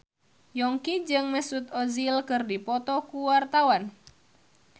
Yongki jeung Mesut Ozil keur dipoto ku wartawan